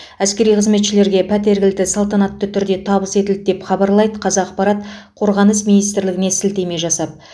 әскери қызметшілерге пәтер кілті салтанатты түрде табыс етілді деп хабарлайды қазақпарат қорғаныс минитсрлігіне сілтеме жасап